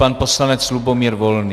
Pan poslanec Lubomír Volný.